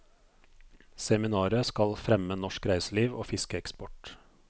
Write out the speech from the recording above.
Seminaret skal fremme norsk reiseliv og fiskeeksport.